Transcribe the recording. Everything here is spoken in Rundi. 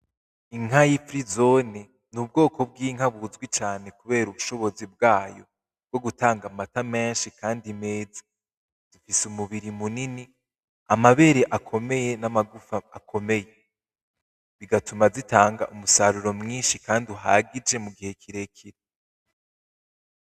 Inka yifirizoni n'ubwoko bw'inka buzwi cane kubera ubushobozi bwayo bwo gutanga amata menshi kandi meza, zifise umubiri munini, amabere akomeye, n'amagufa akomeye bigatuma zitanga umusaruro mwinshi kandi uhagije mugihe kirekire.